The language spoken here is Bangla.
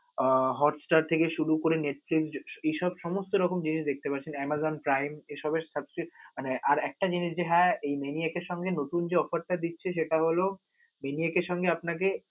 উহ Hotstar থেকে শুরু করে Netflix এসব সমস্ত জিনিস দেখতে পারছেন. Amazon Prime এসবের আহ আর একটা জিনিস যে হ্যা এই Maniac এর সঙ্গে যে offer টা দিচ্ছে, সেটা হল Maniac এর সঙ্গে যে আপনাকে